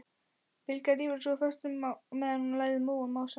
Bylgja rífur sig úr fötunum meðan hún lætur móðan mása.